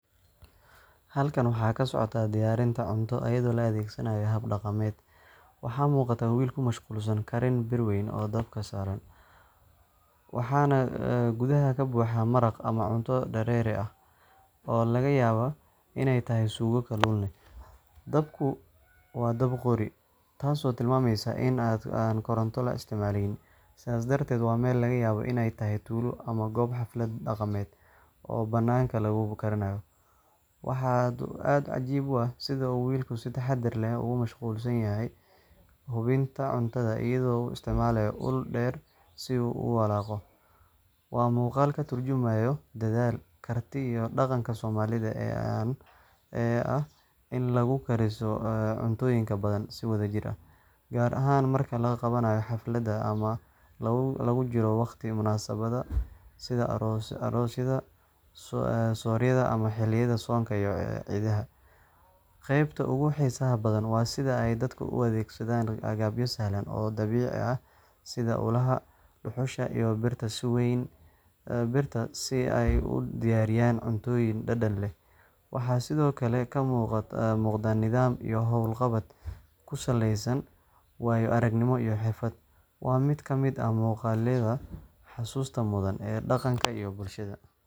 Halkan waxa ka socota diyaarinta cunto iyadoo loo adeegsanayo hab dhaqameed. Waxaa muuqata wiil ku mashquulsan karin bir weyn oo dab ka suran, waxaana gudaha ka buuxa maraq ama cunto dareere ah oo laga yaabo inay tahay suugo kalluun leh. Dabku waa dab qori, taasoo tilmaamaysa in aan koronto la isticmaaleyn, sidaas darteed waa meel laga yaabo in ay tahay tuulo ama goob xaflad dhaqameed ah oo banaanka lagu karinayo. Waxaa aad u cajiib ah sida uu wiilku si taxaddar leh ugu mashquulsan yahay hubinta cuntada iyadoo uu isticmaalayo ul dheer si uu u walaaqo. Waa muuqaal ka tarjumaya dedaal, karti iyo dhaqanka soomaalida ee ah in lagu kariso cuntooyin badan si wadajir ah, gaar ahaan marka la qabanayo xafladaha ama lagu jiro waqtiyo munaasabadaha sida aroosyada, sooryada ama xilliyada soonka iyo ciidaha. Qaybta ugu xiisaha badan waa sida ay dadka u adeegsadaan agabyo sahlan oo dabiici ah sida ulaha, dhuxusha, iyo birta weyn si ay u diyaariyaan cuntooyin dhadhan leh. Waxaa sidoo kale ka muuqda nidaam iyo howl qabad ku saleysan waayo-aragnimo iyo xirfad. Waa mid ka mid ah muuqaallada xusuusta mudan ee dhaqanka iyo bulshada.